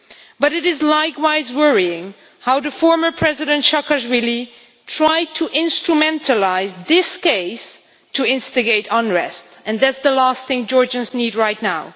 But it is likewise worrying how former President Saakashvili tried to instrumentalise this case to instigate unrest, which is the last thing Georgians need right now.